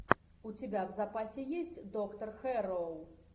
у тебя в запасе есть доктор хэрроу